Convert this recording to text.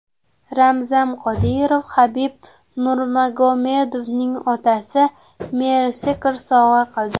Ramzan Qodirov Habib Nurmagomedovning otasiga Mercedes sovg‘a qildi.